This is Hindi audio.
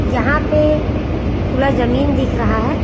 यहां पे खुला जमीन दिख रहा है।